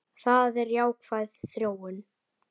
Það er jákvæð þróun.